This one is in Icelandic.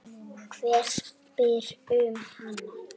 Hver spyr um hana?